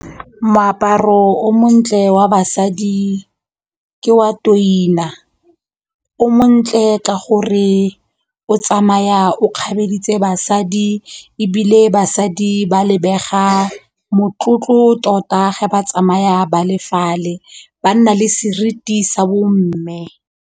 Moaparo o montle wa basadi ke wa o montle ka gore o tsamaya o kgabeditse basadi ebile basadi ba lebega motlotlo tota ge ba tsamaya ba le fale ba nna le seriti sa bomme.